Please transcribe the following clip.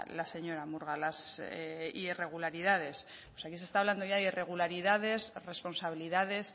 la señora murga las irregularidades pues aquí se está hablando ya de irregularidades responsabilidades